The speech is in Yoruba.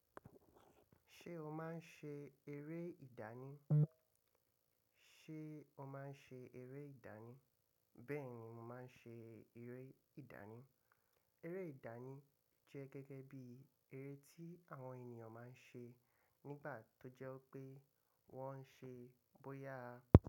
Ṣé o máa ń ṣe eré ìdáni? Ṣé o máa ń ṣe eré ìdánì? Bẹ́ẹ̀ni, mo máa ń ṣe eré ìdánì. Eré ìdánì jẹ́ gẹ́gẹ́ bí eré tí àwọn ènìyàn máa ń ṣe nígbà tó jẹ́ pé wọ́n ń ṣe bóyá.